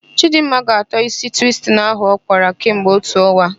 Chịdịmma ga-atọ ísí twistin ahụ ọ kpara kemgbe otu ọnwa.